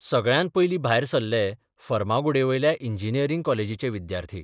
सगळ्यांत पयलीं भायर सरले फर्मागुडयेवयल्या इंजिनियरिंग कॉलेजीचे विद्यार्थी.